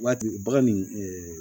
Waati bagan nin